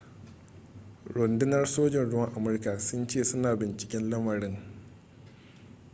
rundunar sojin ruwan amurka sun ce suna binciken lamarin